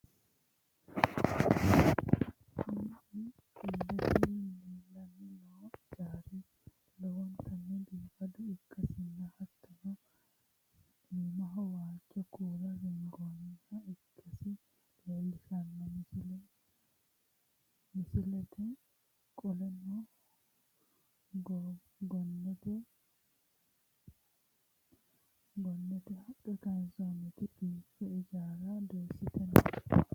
kuni illete leellanni noo ijaari lowontanni biifado ikkasinna, hattono iimaho waajjo kuula ringoonniha ikkasi leellishshanno misileeti, qoleno, gonnete haqqe kayiinsoonniti fulte ijaara dooyisite no.